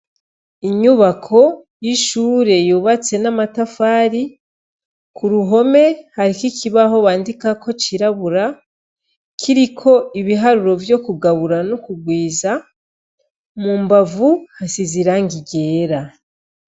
Inyubako yishure yubatse n'amatafari ku ruhome hariho ikibaho bandikako cirabura kiriko ibiharuro vyo kugabura no kurwiza mu mbavu hasize irangi ryera.